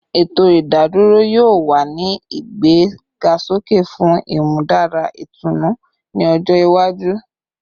Eto idadoro yoo wa ni igbegasoke fun imudara itunu ni ojo iwaju